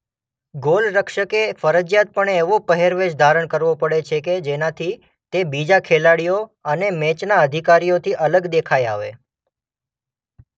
ગોલરક્ષકે ફરજીયાતપણે એવો પહેરવેશ ધારણ કરવો પડે છે કે જેનાથી તે બીજા ખેલાડીઓ અને મેચના અધિકારીઓથી અલગ દેખાઇ આવે.